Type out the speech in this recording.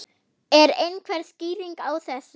Er einhver skýring á þessu?